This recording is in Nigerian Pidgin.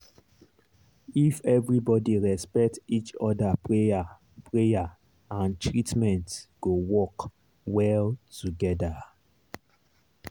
if everybody respect each other prayer prayer and treatment go work well together.